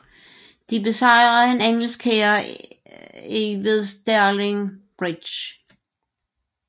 De besejrede en engelsk hær i ved Stirling Bridge